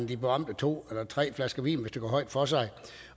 de berømte to eller tre flasker vin hvis det går højt for sig